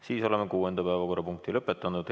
Siis oleme kuuenda päevakorrapunkti lõpetanud.